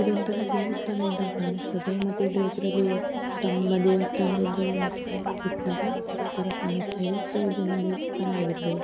ಇದೊಂಥರ ದೇವಸ್ಥಾನ ಇದ್ದ ಹಾಗ್ ಕಾಣಿಸ್ತದೆ ಮತ್ತೆ ಇದರ ಎದುರಲ್ಲಿ ಸ್ಥಂಬ ದೇವಸ್ಥಾನದ ಎದುರಲ್ಲಿ ಒಂದು ಸ್ಥಂಬ ಇರುತ್ತಲ್ಲ ಅದರ ತರ ಕಾಣಿಸ್ತದೆ ಸೋ ಇದೊಂದು ದೇವಸ್ಥಾನ ಇರ್ಬಹುದು.